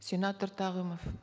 сенатор тағымов